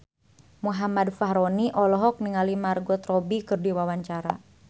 Muhammad Fachroni olohok ningali Margot Robbie keur diwawancara